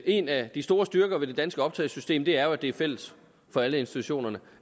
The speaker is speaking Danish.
en af de store styrker ved det danske optagelsessystem jo er at det er fælles for alle institutionerne